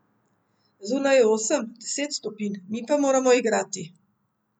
Zunaj je osem, deset stopinj, mi pa moramo igrati.